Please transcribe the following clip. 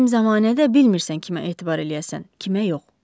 Bizim zəmanədə bilmirsən kimə etibar eləyəsən, kimə yox.